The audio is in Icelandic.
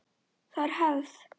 Það er hefð!